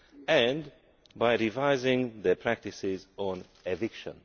and revising their practices on eviction.